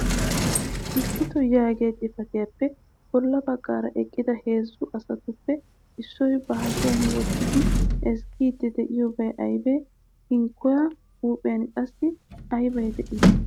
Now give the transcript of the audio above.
Issito yaagiya xifatiyaappe bolla baggaara eqqida heezzu asatuppe issoy ba hashiya wottidi ezggiidi de'iyoobay aybe? Hinkkuwa huuphiyan qassi aybi de'ii?